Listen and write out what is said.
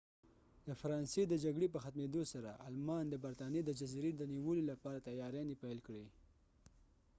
د فرانسې د جګړې په ختمیدو سره آلمان د برطانیې د جزیزې د نیولو لپاره تیاریانې پیل کړې